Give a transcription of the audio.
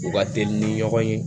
U ka teli ni ɲɔgɔn ye